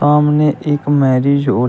सामने एक marriage hall --